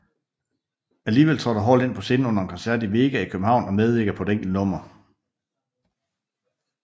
Alligevel trådte Hall ind på scenen under en koncert i Vega i København og medvirkede på et enkelt nummer